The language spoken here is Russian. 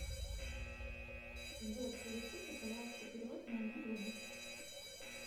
сбер совершите пожалуйста перевод моему другу